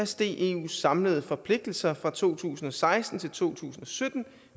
steg eus samlede forpligtelser fra to tusind og seksten til to tusind og sytten